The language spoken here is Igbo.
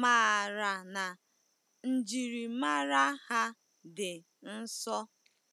maara na njiri mara ha dị nso.